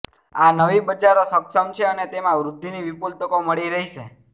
આ નવી બજારો સક્ષમ છે અને તેમાં વૃદ્ધિની વિપુલ તકો મળી રહેશે